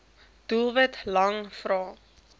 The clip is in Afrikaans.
doelwit lang vrae